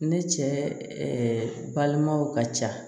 Ne cɛ balimaw ka ca